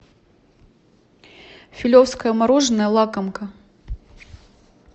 филевское мороженое лакомка